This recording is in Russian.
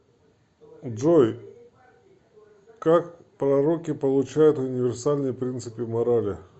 джой как пророки получают универсальные принципы морали